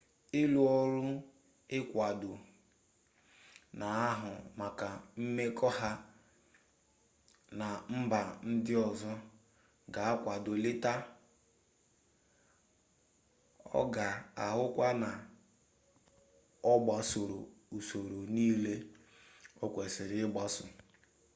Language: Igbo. ụlọọrụ ekuwadọ na-ahụ maka mmekọ ha na mba ndị ọzọ ga-akwado leta a ọ ga-ahụkwa na ọ gbasoro usoro niile o kwesiri ịgbaso